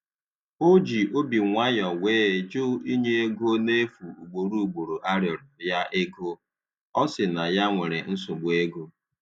O ji obi nwayọ wee jụ inye ego na efu ugboro ugboro a rịọrọ ya ego, ọ si na ya nwere nsogbu ego.